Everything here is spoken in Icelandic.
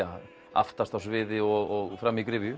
aftast á sviði og fram í gryfju